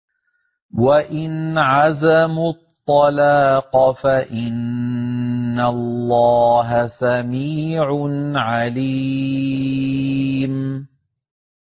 وَإِنْ عَزَمُوا الطَّلَاقَ فَإِنَّ اللَّهَ سَمِيعٌ عَلِيمٌ